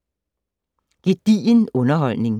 Gedigen underholdning